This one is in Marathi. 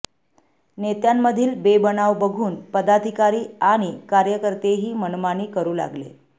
नेत्यांमधील बेबनाव बघून पदाधिकारी आणि कार्यकर्तेही मनमानी करू लागले